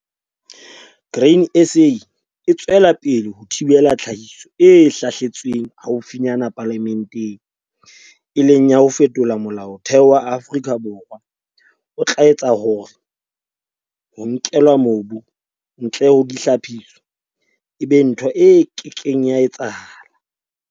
Grain SA e tswela pele ho thibela tlhahiso e hlahletsweng haufinyana palamenteng, e leng ya ho fetola Molaotheo wa Afrika Borwa o tla etsa hore 'Ho nkelwa mobu ntle ho dihlaphiso' e be ntho e ke keng ya etsahala.